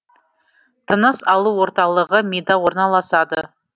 тыныс алу орталығы мида орналасады